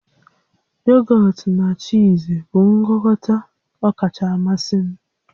Yogọt na chiizi bụ ngwakọta ọkacha mmasị m